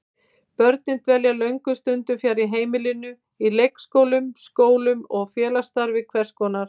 Börnin dvelja löngum stundum fjarri heimilinu, í leikskólum, skólum og félagsstarfi hvers konar.